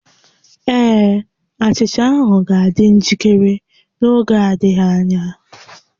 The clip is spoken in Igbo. Ee, achicha ahụ ga-adị njikere n'oge adịghị anya